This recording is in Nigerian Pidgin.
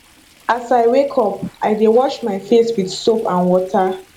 as i wake up i dey wash my face with soap and water